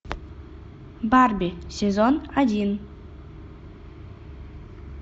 барби сезон один